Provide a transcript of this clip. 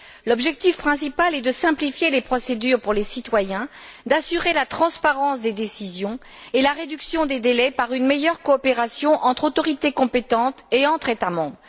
L'objectif principal est de simplifier les procédures pour les citoyens, d'assurer la transparence des décisions et la réduction des délais par une meilleure coopération entre autorités compétentes et entre États membres.